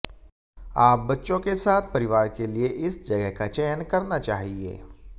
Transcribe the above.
आप बच्चों के साथ परिवार के लिए इस जगह का चयन करना चाहिए